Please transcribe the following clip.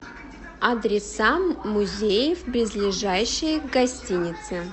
адреса музеев близлежащие к гостинице